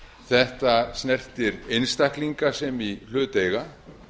þetta snertir einstaklinga sem í hlut eiga